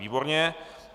Výborně.